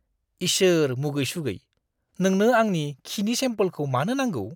इसोर मुगै-सुगै। नोंनो आंनि खिनि सेमपोलखौ मानो नांगौ?